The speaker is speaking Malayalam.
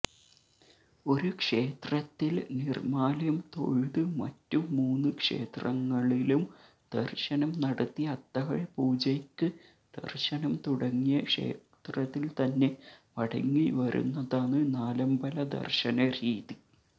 ഒരുക്ഷേത്രത്തിൽ നിർമാല്യം തൊഴുത് മറ്റു മൂന്ന് ക്ഷേത്രങ്ങളിലും ദർശനം നടത്തി അത്താഴപൂജയ്ക്ക് ദർശനം തുടങ്ങിയ ക്ഷേത്രത്തിൽത്തന്നെ മടങ്ങിവരുന്നതാണ് നാലമ്പലദർശനരീതി